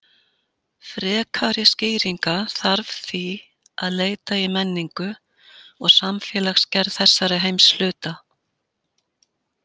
Frekari skýringa þarf því að leita í menningu og samfélagsgerð þessara heimshluta.